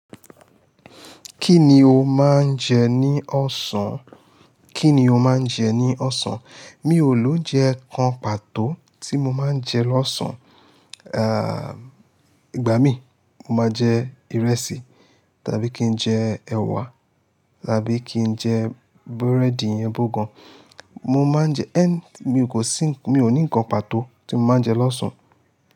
Kíni ó máa ń jẹ ní ọ̀sán? Kíni ó máa ń jẹ ní ọ̀sán? Mi ò lóun jẹ kan pàtó tí mo máa ń jẹ lọ́sàn. Ah, ìgbà mí, mo máa jẹ ìrẹsì, tàbí kí n jẹ ẹ̀wà, tàbí kí n jẹ búrẹ́dì iyẹn bugan. Mo máa ń jẹ-- ẹ́n, mi ò kò sí, mi ò ní nǹkan pàtó tí mo máa ń jẹ lọ́sàn.